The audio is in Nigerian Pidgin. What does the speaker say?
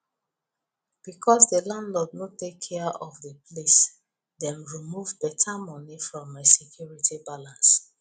because the landlord nor take care of the place dem remove better money from my security balance